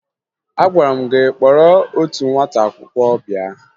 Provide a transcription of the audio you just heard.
Agwara m gị kpọrọ otu nwata akwụkwọ bịa!